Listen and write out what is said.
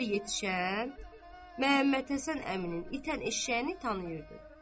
Hər yetişən Məhəmmədhəsən əminin itən eşşəyini tanıyırdı.